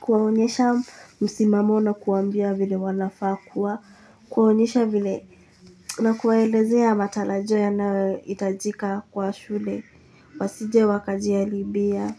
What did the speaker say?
kuwaonyesha msimamo na kuwaambia vile wanafaa kuwa, kuwaonyesha vile na kuwaelezea matarajio yanayohitajika kwa shule, wasije wakajiharibia.